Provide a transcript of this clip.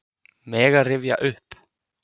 Mega rifja upp.